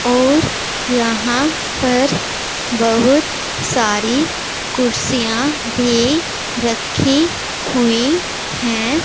और यहा पर बहुत सारी कुरसिया भी राखी हुई है।